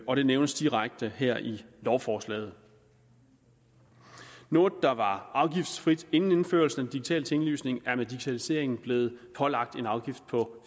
og det nævnes direkte her i lovforslaget noget der var afgiftsfrit inden indførelsen digitale tinglysning er med digitaliseringen blevet pålagt en afgift på